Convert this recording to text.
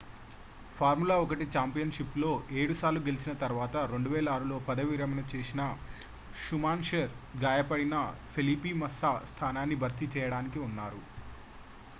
formula 1 ఛాంపియన్షిప్లో 7 సార్లు గెలిచిన తర్వాత 2006లో పదవి విరమణ చేసిన schumacher గాయపడిన felipe massa స్థానాన్ని భర్తీ చేయడానికి ఉన్నారు